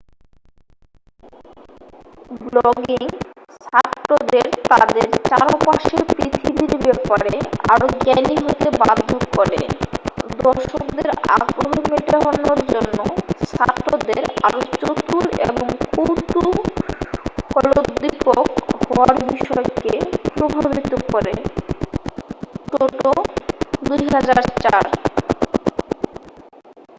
"Blogging "ছাত্রদের তাদের চারপাশের পৃথিবীর ব্যাপারে আরো জ্ঞানী হতে বাধ্য করে।" দর্শকদের আগ্রহ মেটানোর জন্য ছাত্রদের আরো চতুর এবং কৌতূহলোদ্দীপক হওয়ার বিষয়কে প্রভাবিত করে টোটো ২০০৪।